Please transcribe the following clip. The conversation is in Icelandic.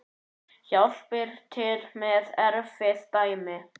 Hjálpar til með erfið dæmi.